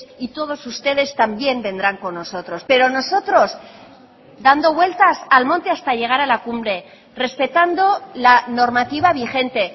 y todos ustedes también vendrán con nosotros pero nosotros dando vueltas al monte hasta llegar a la cumbre respetando la normativa vigente